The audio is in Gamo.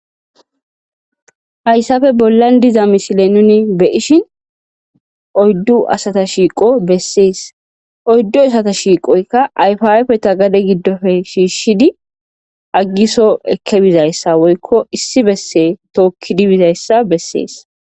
hayssafe bollan diza misile nuni beyishin oyddu asata shiiqo bessees oyddu asata shiiqoyka ayfiapfe ta gade giddofe shiishshidi aggiso ekkebizayssa woykko issi besse tookkidibizayssa bessees